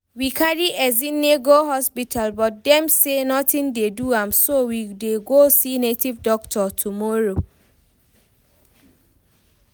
We carry Ezinne go hospital but dem say nothing dey do am so we dey go see native doctor tomorrow